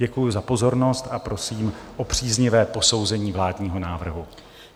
Děkuji za pozornost a prosím o příznivé posouzení vládního návrhu.